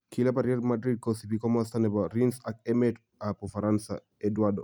kilabitab Real Madrid kosibi komosto nebo Rennes ak emetab ufaransa Eduardo